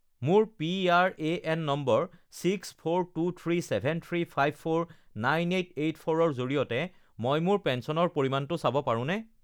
মোৰ PRAN number six four two three seven three five four nine eight eight ফ'ৰৰ জৰিয়তে মই মোৰ পেঞ্চনৰ পৰিমাণটো চাব পাৰোঁনে?